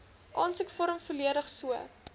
aansoekvorm volledig so